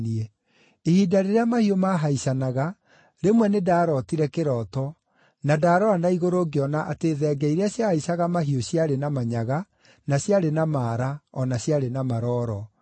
“Ihinda rĩrĩa mahiũ maahaicanaga, rĩmwe nĩndarootire kĩroto na ndarora na igũrũ ngĩona atĩ thenge iria ciahaicaga mahiũ ciarĩ na manyaga, na ciarĩ na maara, o na ciarĩ na marooro.